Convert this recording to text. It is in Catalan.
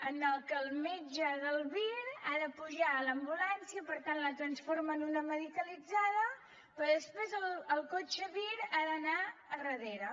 en què el metge del vir ha de pujar a l’ambulància per tant la transforma en una medicalitzada però després el cotxe vir ha d’anar darrere